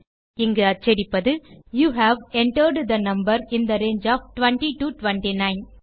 இங்கு அச்சடிப்பது you have entered the number in the range of 20 to 29